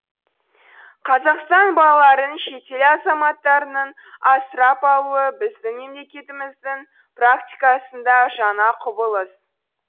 қазақстан балаларын шетел азаматтарының асырап алуы біздін мемлекетіміздің практикасында жаңа құбылыс